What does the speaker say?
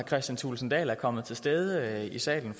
kristian thulesen dahl er kommet til stede i salen